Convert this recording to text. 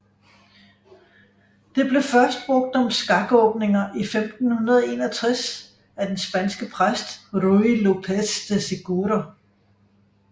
Det blev først brugt om skakåbninger i 1561 af den spanske præst Ruy López de Segura